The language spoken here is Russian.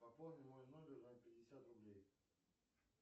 пополни мой номер на пятьдесят рублей